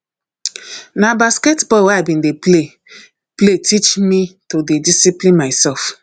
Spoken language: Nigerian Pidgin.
na basketball wey i bin dey play play teach me to dey discipline mysef